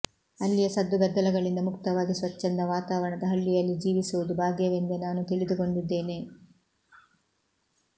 ಅಲ್ಲಿಯ ಸದ್ದು ಗದ್ದಲಗಳಿಂದ ಮುಕ್ತವಾಗಿ ಸ್ವಚ್ಛಂದ ವಾತಾವರಣದ ಹಳ್ಳಿಯಲ್ಲಿ ಜೀವಿಸುವುದು ಭಾಗ್ಯವೆಂದೇ ನಾನು ತಿಳಿದುಕೊಂಡಿದ್ದೇನೆ